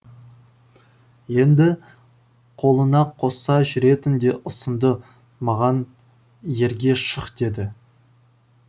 енді қолына қоса жүретін де ұсынды маған ерге шық деді